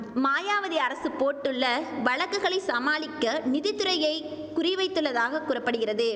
மாயாவதி அரசு போட்டுள்ள வழக்குகளை சமாளிக்க நிதி துறையை குறி வைத்துள்ளதாக கூற படுகிறது